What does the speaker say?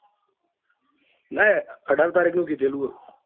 નાં અઢાર તારીખ નું કીધેલું હ.